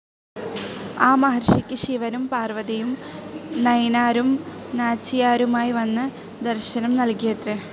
ആ മഹർഷിയ്ക്ക് ശിവനും പാർവതിയും നയിനാരും നാച്ചിയാരുമായി വന്ന് ദർശനം നൽകിയത്രെ.